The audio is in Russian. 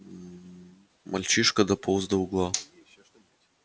мальчишка дополз до угла